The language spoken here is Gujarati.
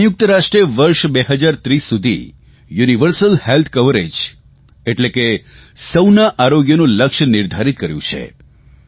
સંયુક્ત રાષ્ટ્રે વર્ષ 2030 સુધી યુનિવર્સલ હેલ્થ કવરેજ એટલે સૌનું આરોગ્યનું લક્ષ્ય નિર્ધારિત કર્યું છે